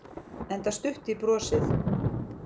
Enda stutt í brosið.